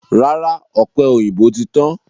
Rárá, ọ̀pẹ̀ òyìnbó ti tán.